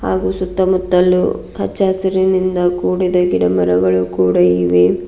ಹಾಗೂ ಸುತ್ತಮುತ್ತಲೂ ಹಚ್ಚಹಸಿರಿನಿಂದ ಕೂಡಿದ ಗಿಡ ಮರಗಳು ಕೂಡ ಇದೆ.